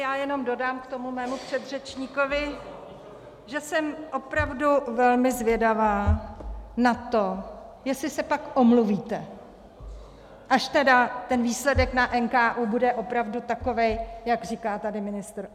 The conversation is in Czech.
Já jenom dodám k tomu mému předřečníkovi, že jsem opravdu velmi zvědavá na to, jestli se pak omluvíte, až tedy ten výsledek na NKÚ bude opravdu takový, jak říká tady ministr.